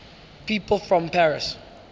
people from paris